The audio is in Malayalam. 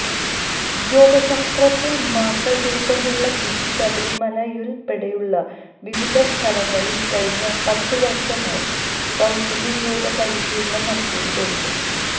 യോഗശാസ്ത്രത്തിൽ മാസ്റ്റർ ബിരുദമുള്ള ബിജു ശബരിമലയുൾപ്പെടെയുള്ള വിവിധ സ്ഥലങ്ങളിൽ കഴിഞ്ഞ പത്തുവർഷമായി സാജന്യ യോഗപരിശീലനം നടത്തിവരുന്നു